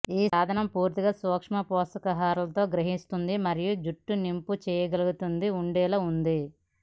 ఈ సాధనం పూర్తిగా సూక్ష్మపోషకాహారలతో గ్రహిస్తుంది మరియు జుట్టు నింపు చేయగలిగింది ఉండేలా ఉంది